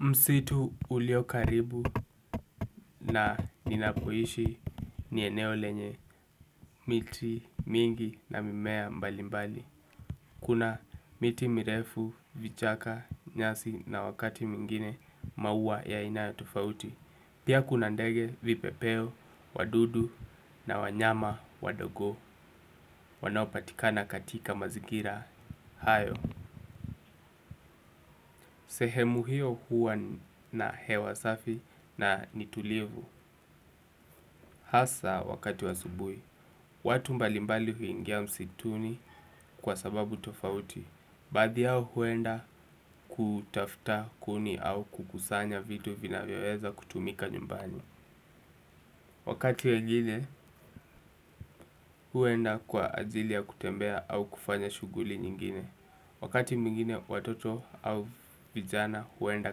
Msitu ulio karibu na ninapoishi ni eneo lenye miti, mingi na mimea mbali mbali. Kuna miti mirefu, vichaka, nyasi na wakati mwingine maua ya aina ya tofauti. Pia kuna ndege vipepeo, wadudu na wanyama, wadogo wanopatikana katika mazigira hayo. Sehemu hiyo huwa na hewa safi na ni tulivu. Hasa wakati wa asubui, watu mbalimbali huingia msituni kwa sababu tofauti baadhi yao huenda kutafuta kuni au kukusanya vitu vinavyoweza kutumika nyumbani wakati wengine huenda kwa ajili ya kutembea au kufanya shuguli nyingine wakati mwingine watoto au vijana huenda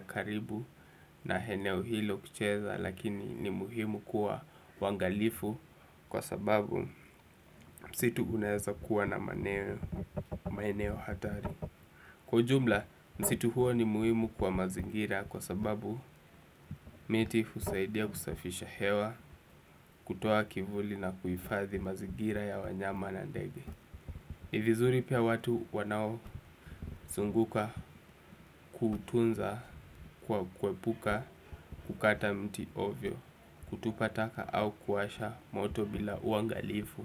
karibu na eneo hilo kucheza lakini ni muhimu kuwa wangalifu kwa sababu msitu unaeza kuwa na maeneo hatari kwa jumla msitu huo ni muhimu kwa mazingira kwa sababu miti husaidia kusafisha hewa kutoa kivuli na kuifathi mazingira ya wanyama na ndege ni vizuri pia watu wanaozunguka kutunza kwa kuepuka kukata mti ovyo kutupa taka au kuwasha moto bila uangalifu.